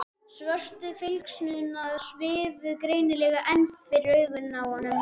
Svörtu flygsurnar svifu greinilega enn fyrir augunum á honum.